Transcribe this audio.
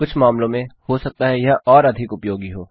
कुछ मामलों में हो सकता है यह अधिक उपयोगी हो